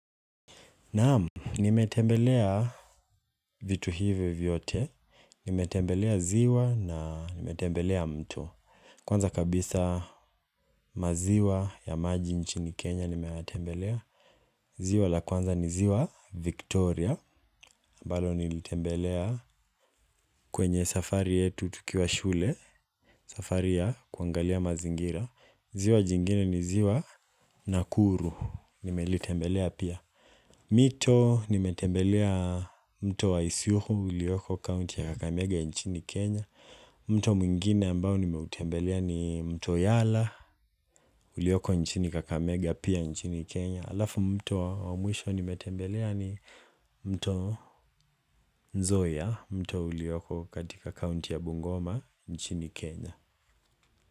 Naam, nimetembelea vitu hivyo vyote, nimetembelea ziwa na nimetembelea mto Kwanza kabisa maziwa ya maji nchini Kenya nimetembelea ziwa la kwanza ni ziwa Victoria, ambalo nilitembelea kwenye safari yetu tukiwa shule. Safari ya kuangalia mazingira, ziwa jingine ni ziwa Nakuru, nimelitembelea pia. Mito nimetembelea mto wa isiukhu uliyoko kaunti ya Kakamega nchini Kenya. Mto mwingine ambao nimeutembelea ni mto Yala ulioko nchini Kakamega pia nchini Kenya. Alafu mto wa mwisho nimetembelea ni mto Nzoia mto ulioko katika kaunti ya Bungoma nchini Kenya.